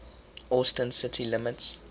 austin city limits